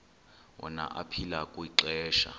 wona aphila kwixesha